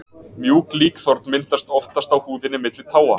Mjúk líkþorn myndast oftast á húðinni milli táa.